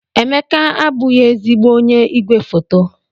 Emeka abụghị ezigbo onye igwefoto.